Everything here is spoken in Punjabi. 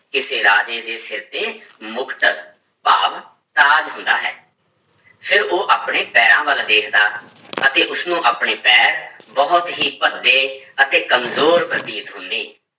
ਕਿਸੇ ਰਾਜੇ ਦੇ ਸਿਰ ਤੇ ਮੁਕਟ, ਭਾਵ ਤਾਜ ਹੁੰਦਾ ਹੈ, ਫਿਰ ਉਹ ਆਪਣੇ ਪੈਰਾਂ ਵੱਲ ਵੇਖਦਾ ਅਤੇ ਉਸਨੂੰ ਆਪਣੇ ਪੈਰ ਬਹੁਤ ਹੀ ਭੱਦੇ ਅਤੇ ਕੰਮਜ਼ੋਰ ਪ੍ਰਤੀਤ ਹੁੰਦੇ।